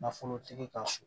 Nafolotigi ka so